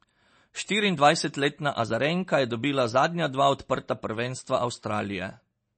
Štiriindvajsetletna Azarenka je dobila zadnja dva odprta prvenstva Avstralije.